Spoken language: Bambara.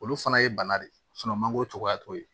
Olu fana ye bana de ye mangoro cogoya t'o ye